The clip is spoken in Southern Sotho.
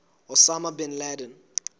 osama bin laden